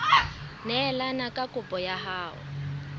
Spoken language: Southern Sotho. neelane ka kopo ya hao